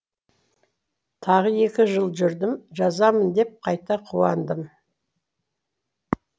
тағы екі жыл жүрдім жазамын деп қайта қуандым